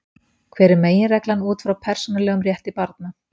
Hver er meginreglan út frá persónulegum rétti barna?